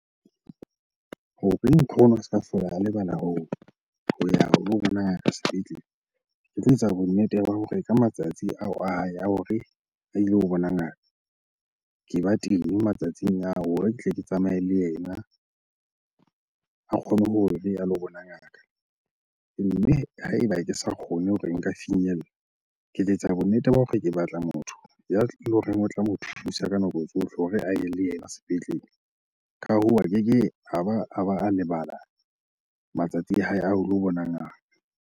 Hore a se ka hlola a lebala ho ya ho lo bona ngaka sepetlele. Ke tlo etsa bonnete ba hore ka matsatsi ao a hae a hore a ilo bona ngaka, ke ba teng matsatsing ao hore ke tle ke tsamaye le yena a kgone hore a lo bona ngaka. Mme ha eba ke sa kgone hore nka finyella, ke tla etsa bonnete ba hore ke batla motho ya horeng o tla mo thusa ka nako tsohle hore a ye le yena sepetlele. Ka hoo, a keke a ba a lebala matsatsi a hae a ho lo bona ngaka.